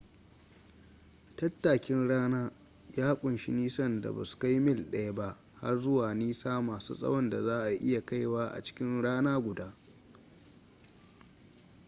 tattakin rana ya ƙunshi nisan da ba su kai mil daya ba har zuwa nisa masu tsawon da za a iya kaiwa a cikin rana guda